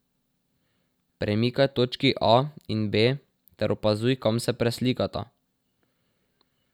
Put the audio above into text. Premikaj točki A in B ter opazuj, kam se preslikata.